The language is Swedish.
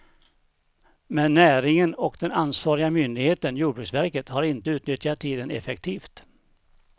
Men näringen och den ansvariga myndigheten, jordbruksverket, har inte utnyttjat tiden effektivt.